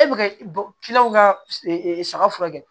E bɛ ka ka saga furakɛ